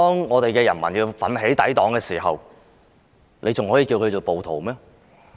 我想請問，當人民奮起抵擋，還可以稱他們為暴徒嗎？